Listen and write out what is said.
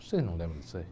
Vocês não lembram disso aí.